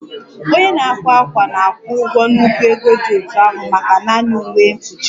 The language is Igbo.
Onye na-akwa ákwà na-akwụ ụgwọ nnukwu ego dị otú ahụ maka naanị uwe mkpuchi